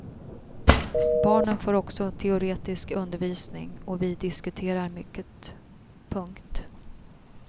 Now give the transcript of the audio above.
Barnen får också teoretisk undervisning och vi diskuterar mycket. punkt